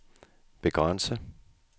begrænse